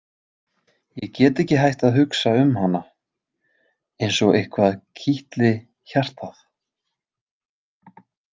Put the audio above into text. Ég get ekki hætt að hugsa um hana, eins og eitthvað kitli hjartað.